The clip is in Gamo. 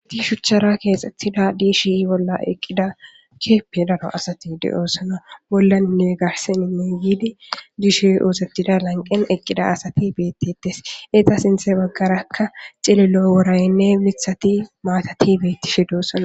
Hiti shuchara keexxettida diishi bolla eqqida keeppe daro asati de7oosana bollani ni garseninne yiidi diishi oosetida lanqen eqqida asati beetetes eeta sinthe baggarakka xililo woraynne lithati maatati beetti shidosana